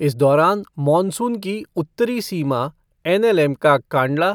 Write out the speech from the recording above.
इस दौरान, मॉनसून की उत्तरी सीमा एनएलएम का कांडला,